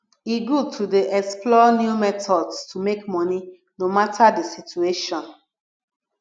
e good to dey explore new methods to make money no matter di situation